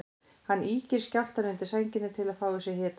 Hann ýkir skjálftann undir sænginni til að fá í sig hita.